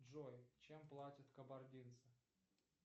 джой чем платят кабардинцы